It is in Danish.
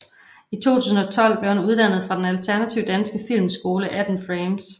I 2012 blev han uddannet fra den alternative danske filmskole 18 Frames